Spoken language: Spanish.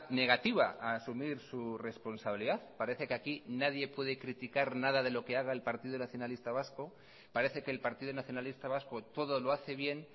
negativa a asumir su responsabilidad parece que aquí nadie puede criticar nada de lo que haga el partido nacionalista vasco parece que el partido nacionalista vasco todo lo hace bien